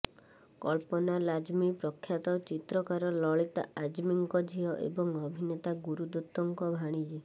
କଳ୍ପନା ଲାଜମୀ ପ୍ରଖ୍ୟାତ ଚିତ୍ରକାର ଲଳିତା ଆଜମୀଙ୍କ ଝିଅ ଏବଂ ଅଭିନେତା ଗୁରୁ ଦତ୍ତଙ୍କ ଭାଣିଜୀ